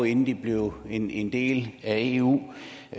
inden de blev en en del af eu